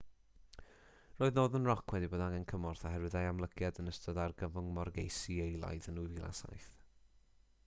roedd northern rock wedi bod angen cymorth oherwydd ei amlygiad yn ystod argyfwng morgeisi eilaidd yn 2007